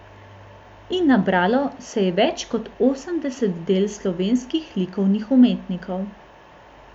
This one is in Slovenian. In nabralo se je več kot osemdeset del slovenskih likovnih umetnikov.